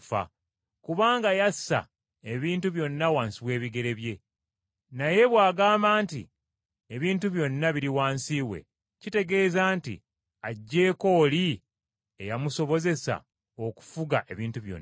Kubanga yassa ebintu byonna wansi w’ebigere bye. Naye bw’agamba nti ebintu byonna biri wansi we, kitegeeza nti aggyeko oli ey’amusobozesa okufuga ebintu byonna.